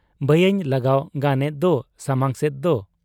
ᱵᱟᱭᱟᱧ ᱞᱟᱜᱟᱣ ᱜᱟᱱᱮᱫ ᱫᱚ ᱥᱟᱢᱟᱝ ᱥᱮᱫᱚᱜ ?'